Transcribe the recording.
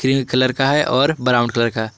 colour का है और ब्राउन कलर का--